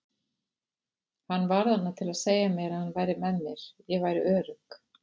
Hann var þarna til að segja mér að hann væri með mér, ég væri örugg.